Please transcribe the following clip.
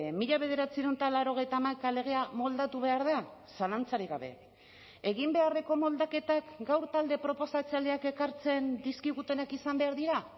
mila bederatziehun eta laurogeita hamaika legea moldatu behar da zalantzarik gabe egin beharreko moldaketak gaur talde proposatzaileak ekartzen dizkigutenak izan behar dira